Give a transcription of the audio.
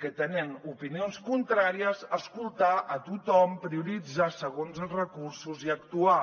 que tenien opinions contràries escoltar a tothom prioritzar segons els recursos i actuar